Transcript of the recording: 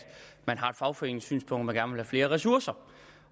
man har et fagforeningssynspunkt om at man flere ressourcer